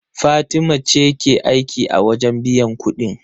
Fatima ce ke aiki a wajen biyan kuɗin.